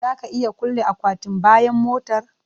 Za ka iya kulle akwatin bayan motar?